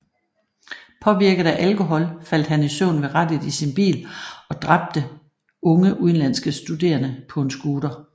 Påvirket af alkohol faldt han i søvn ved rattet i sin bil og dræbteunge udenlandske studerende på en scooter